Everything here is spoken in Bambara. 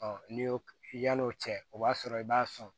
n'i y'o yal'o cɛ o b'a sɔrɔ i b'a sɔn